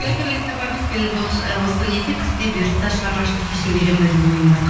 гастрольдік сапар емес мен осы неде күзде бұйыртса шығармашылық кешімді беремін бе деген ойым бар